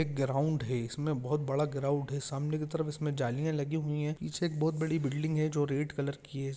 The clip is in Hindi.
एक ग्राउंड है इसमें बहुत बड़ा ग्राउंड है सामने की तरफ जालियां लगी हुई है पीछे एक बहुत बड़ी बिल्डिंग है जो रेड कलर की है।